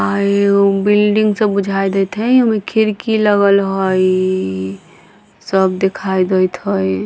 आये उ बिल्डिंग सब बुझाई देते हई उमे खिड़की लगल हई सब दिखाई देइत हई।